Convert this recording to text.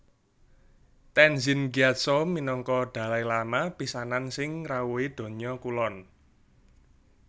Tenzin Gyatso minangka Dalai Lama pisanan sing ngrawuhi Donya Kulon